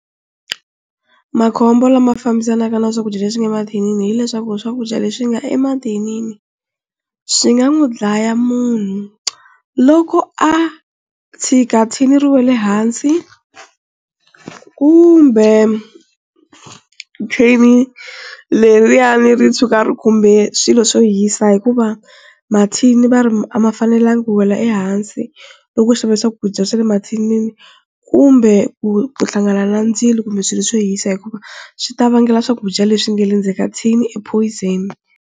Makhombo lama fambisanaka na swakudya leswi nga mathinini hileswaku swakudya leswi nga emathinini swi nga n'wi dlaya munhu loko a tshika thini ri wele hansi kumbe thini leriyani ri tshuka ri khumbe swilo swo hisa hikuva mathini va ri a ma fanelangi ku wela hansi loko u xave swakudya swa le mathinini, kumbe ku hlangana na ndzilo kumbe swilo swo hisa hikuva swi ta vangela swakudya leswi nga le ndzeni ka thini e poison.